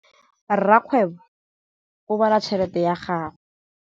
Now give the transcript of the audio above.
Rakgwêbô o bala tšheletê ya gagwe.